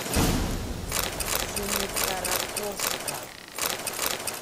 семикаракорска